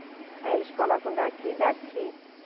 Aí eles colocam daqui e daqui.